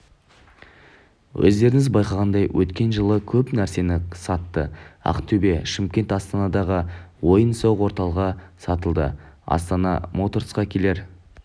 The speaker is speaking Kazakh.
өздеріңіз байқағандай өткен жылы көп нәрсені сатты ақтөбе шымкент астанадағы ойын-сауық орталығы сатылды астана моторсқа келер